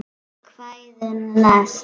Kvæðin næst?